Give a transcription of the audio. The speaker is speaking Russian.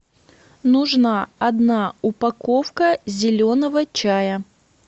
нужна одна упаковка зеленого чая